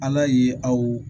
Ala ye aw